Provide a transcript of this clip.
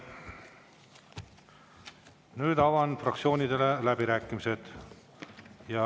Nüüd avan fraktsioonidele läbirääkimised.